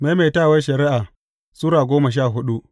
Maimaitawar Shari’a Sura goma sha hudu